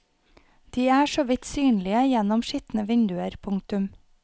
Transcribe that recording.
De er så vidt synlige gjennom skitne vinduer. punktum